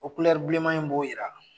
O kulɛri bilenman in b'o jira